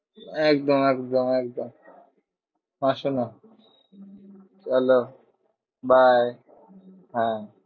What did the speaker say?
একদম একদম একদম আসোনা চলো bye হ্যাঁ।